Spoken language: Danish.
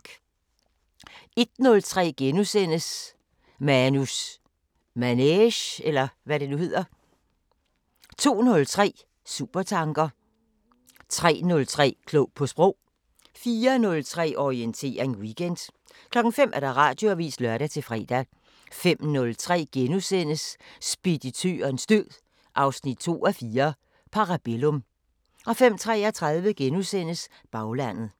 01:03: Manus Manege * 02:03: Supertanker 03:03: Klog på Sprog 04:03: Orientering Weekend 05:00: Radioavisen (lør-fre) 05:03: Speditørens død 2:4 – Parabellum * 05:33: Baglandet *